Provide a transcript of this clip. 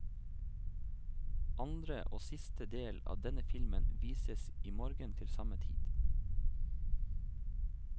Andre og siste del av denne filmen vises i morgen til samme tid.